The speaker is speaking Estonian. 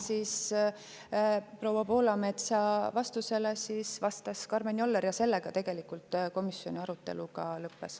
Proua Poolametsale vastas Karmen Joller ja sellega tegelikult komisjoni arutelu ka lõppes.